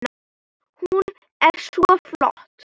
Hún er svo flott!